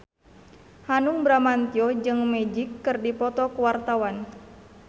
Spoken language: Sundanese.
Hanung Bramantyo jeung Magic keur dipoto ku wartawan